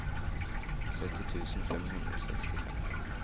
sytti tusen fem hundre og sekstifem